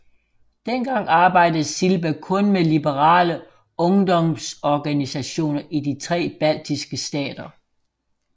Dengang arbejdede Silba kun med liberale ungdomsorganisationer i de tre baltiske stater